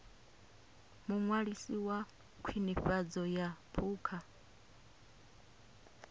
muṅwalisi wa khwinifhadzo ya phukha